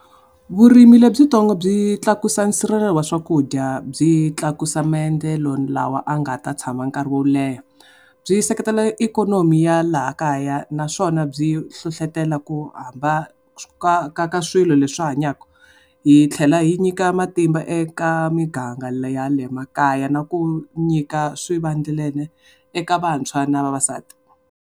Vurimi lebyitsongo byi tlakusa nsirhelelo wa swakudya, byi tlakusa maendlelo lawa ya nga ta tshama nkarhi wo leha. Byi seketela ikonomi ya laha kaya naswona byi hlohletela ku hamba ka ka swilo leswi hanyaka. Yi tlhela yi nyika matimba eka miganga leya le makaya na ku nyika swivandlanene eka vantshwa na vavasati.